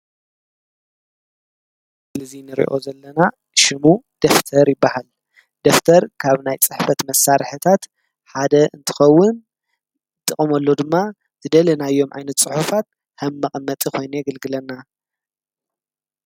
ስልዙይ ንርእኦ ዘለና ሽሙ ደፍተር ይበሃል። ደፍተር ካብ ናይ ጻሕፈት መሣርሕታት ሓደ እንትኸውን ፤ ጥቐመሎ ድማ ዝደለናዮም ኣይነት ጽሑፋት ሕምመቐመጠ ኾይነ የግልግለና።